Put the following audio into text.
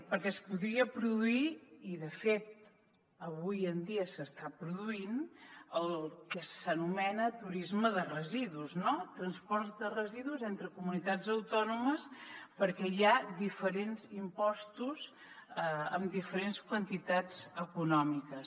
perquè es podria produir i de fet avui en dia s’està produint el que s’anomena turisme de residus no transport de residus entre comunitats autònomes perquè hi ha diferents impostos amb diferents quantitats econòmiques